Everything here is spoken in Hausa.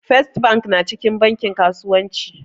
First bank na cikin bankin kasuwanci